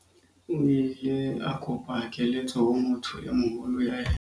o ile a kopa keletso ho motho e moholo ho yena